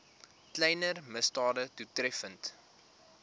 kleiner misdade doeltreffend